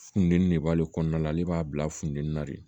Funteni de b'ale kɔnɔna la ale b'a bila funteni na de